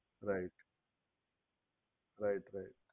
right right right